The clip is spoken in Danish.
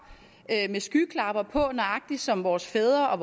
med skyklapper på nøjagtig som vores fædre og